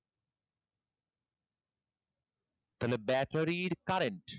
তাহলে battery এর current.